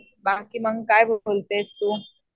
बाकी मग काय बोलतेस तू?